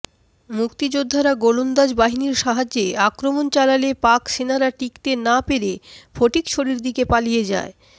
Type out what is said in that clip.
মুক্তিযোদ্ধারা গোলন্দাজ বাহিনীর সাহায্যে আক্রমণ চালালে পাকসেনারা টিকতে না পেরে ফটিকছড়ির দিকে পালিয়ে যায়